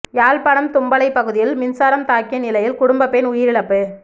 யாழ்ப்பாணம் தும்பளை பகுதியில் மின்சாரம் தாக்கிய நிலையில் குடும்ப பெண் உயிரிழப்பு